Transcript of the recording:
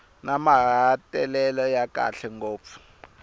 na mahetelelo ya kahle ngopfu